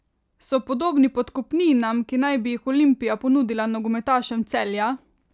So podobni podkupninam, ki naj bi jih Olimpija ponudila nogometašem Celja?